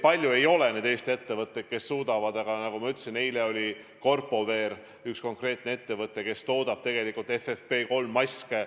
Palju ei ole neid Eesti ettevõtteid, kes seda suudavad, aga nagu ma ütlesin, on Corpowear, üks konkreetne ettevõte, kes toodab FFP3-maske.